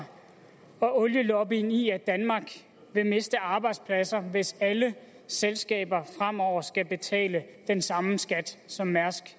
olielobbyen i at danmark vil miste arbejdspladser hvis alle selskaber fremover skal betale den samme skat som mærsk